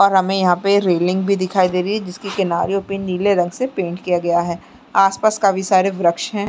और हमें यहाँ पर रेलिंग भी दिखाई दे रही है जिसके किनारियों पे नीले रंग से पेंट किया गया है आस पास काफी सारे वृक्ष हैं।